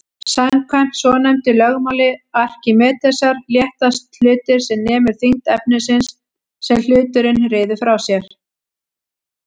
Samkvæmt svonefndu lögmáli Arkímedesar léttast hlutir sem nemur þyngd efnisins sem hluturinn ryður frá sér.